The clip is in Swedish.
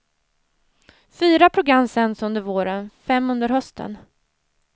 Fyra program sänds under våren, fem under hösten.